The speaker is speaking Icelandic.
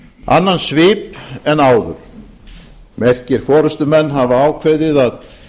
annan svip en áður merkir forustumenn hafa ákveðið að